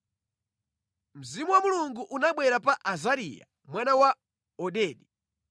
Mzimu wa Mulungu unabwera pa Azariya mwana wa Odedi.